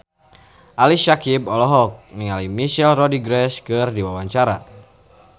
Ali Syakieb olohok ningali Michelle Rodriguez keur diwawancara